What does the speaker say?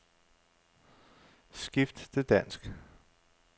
Skift til dansk.